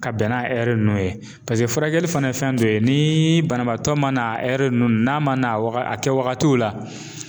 Ka bɛn n'a nunnu ye paseke furakɛli fɛnɛ ye fɛn dɔ ye, ni banabaatɔ mana nunnu n'a ma na a kɛ wagatiw la